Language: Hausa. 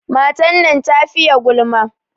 Matan nan ta fiye gulma.